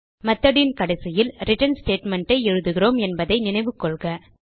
method ன் கடைசியில் return statement எழுதுகிறோம் என்பதை நினைவு கொள்க